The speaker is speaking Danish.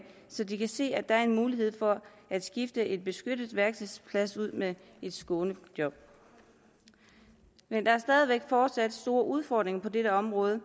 så de kan se at der er en mulighed for at skifte en beskyttet værkstedsplads ud med et skånejob men der er fortsat store udfordringer på dette område